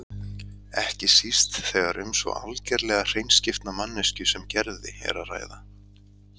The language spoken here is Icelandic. Ekki síst þegar um svo algerlega hreinskiptna manneskju sem Gerði er að ræða.